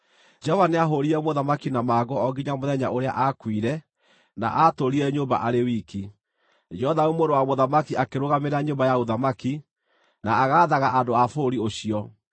Jehova nĩahũũrire mũthamaki na mangũ o nginya mũthenya ũrĩa aakuire, na aatũũrire nyũmba arĩ wiki. Jothamu mũrũ wa mũthamaki akĩrũgamĩrĩra nyũmba ya ũthamaki, na agaathaga andũ a bũrũri ũcio.